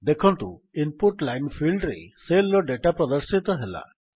ଦେଖନ୍ତୁ input line ଫିଲ୍ଡରେ cell ର ଡେଟା ପ୍ରଦର୍ଶିତ ହେଲା